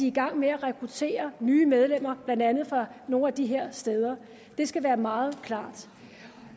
i gang med at rekruttere nye medlemmer blandt andet fra nogle af de her steder det skal være meget klart